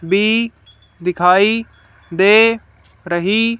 भी दिखाई दे रही--